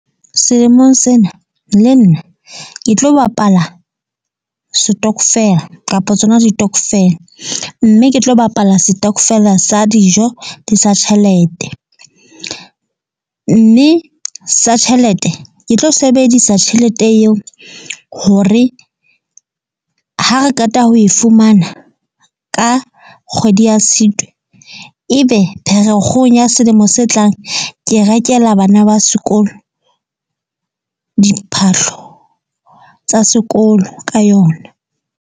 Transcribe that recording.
Selemong sena le nna ke tlo bapala setokofela kapa tsona ditokofele. Mme ke tlo bapala setokofela sa dijo le sa tjhelete. Mme sa tjhelete ke tlo sebedisa tjhelete eo hore ha re keta ho e fumana ka kgwedi ya Tshitwe. Ebe Pherekgong ya selemo se tlang. Ke rekela bana ba sekolo diphahlo tsa sekolo ka yona.